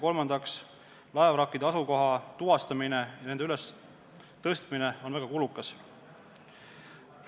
Kolmandaks, laevavrakkide asukoha tuvastamine ja nende ülestõstmine on väga kulukas.